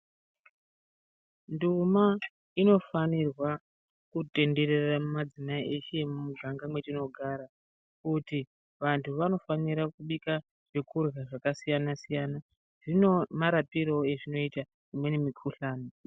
Nduma inofanirwa kutenderera mumadzimai eshe emumuganga mwetinogara kuti vantu vanofanira kubika zvekurya zvakasiyana siyana zvine marapirewo ezvinoita imweni mukhuhlani.